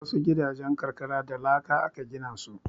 Wasu gidajen karkara da laka aka gina su.